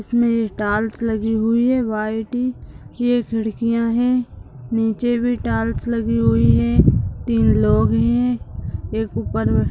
इसमे टाइल्स लगी हुई है व्हाइट ये खिड़कियां है नीचे भी टाइल्स लगी हुई है तीन लोग है एक ऊपर --